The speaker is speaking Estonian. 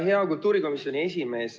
Hea kultuurikomisjoni esimees!